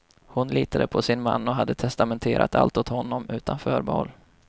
Hon litade på sin man och hade testamenterat allt åt honom utan förbehåll.